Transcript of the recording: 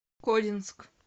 кодинск